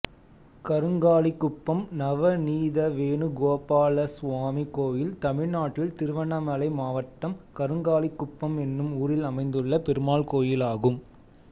கருங்காலிகுப்பம் நவநீதவேணுகோபாலசுவாமி கோயில் தமிழ்நாட்டில் திருவண்ணாமலை மாவட்டம் கருங்காலிகுப்பம் என்னும் ஊரில் அமைந்துள்ள பெருமாள் கோயிலாகும்